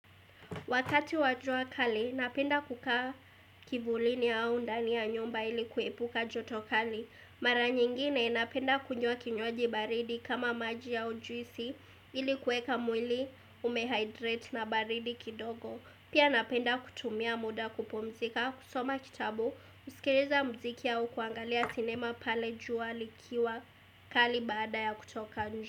Wakati wa jua kali, napenda kukaa kivulini au ndani ya nyumba ili kuepuka joto kali. Mara nyingine, napenda kunywa kinywaji baridi kama maji au juisi ili kuweka mwili umehydrate na baridi kidogo. Pia napenda kutumia muda kupumzika, kusoma kitabu, kusikiliza muziki au kuangalia sinema pale jua likiwa kali baada ya kutoka nje.